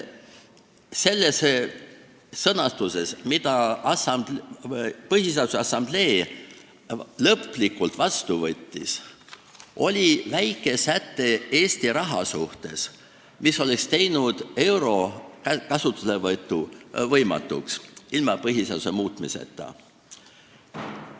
Selles sõnastuses, mille Põhiseaduse Assamblee lõpuks vastu võttis, oli väike säte Eesti raha kohta, mis oleks teinud euro kasutuselevõtu ilma põhiseaduse muutmiseta võimatuks.